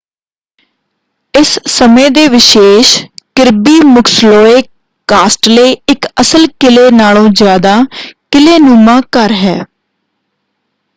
ਇਸ ਸਮੇਂ ਦੇ ਵਿਸ਼ੇਸ਼ ਕਿਰਬੀ ਮੁਕਸਲੋਏ ਕਾਸਟਲੇ ਇਕ ਅਸਲ ਕਿਲੇ ਨਾਲੋਂ ਜ਼ਿਆਦਾ ਕਿਲ੍ਹੇਨੁਮਾ ਘਰ ਹੈ।